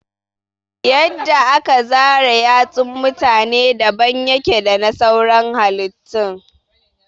Yadda aka zara yatsun mutane daban yake dana sauran halittun